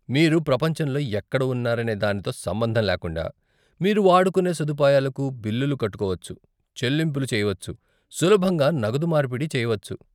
మీరు ప్రపంచంలో ఎక్కడ ఉన్నారనే దానితో సంబంధం లేకుండా, మీరు వాడుకునే సదుపాయాలకు బిల్లులు కట్టుకోవచ్చు, చెల్లింపులు చేయవచ్చు, సులభంగా నగదు మార్పిడి చేయవచ్చు.